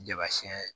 Jama siyɛn